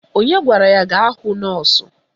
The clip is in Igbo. Onye gwara ya gaa hụ nọọsụ?